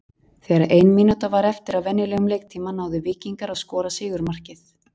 Þegar að ein mínúta var eftir af venjulegum leiktíma náðu Víkingar að skora sigurmarkið.